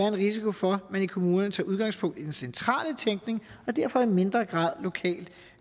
en risiko for at man i kommunerne tager udgangspunkt i den centrale tækning og derfor i mindre grad lokalt